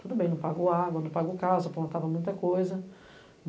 Tudo bem, não pago água, não pago casa, apontava muita coisa.